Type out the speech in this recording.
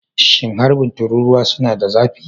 Shin harbin tururuwa suna da zafi?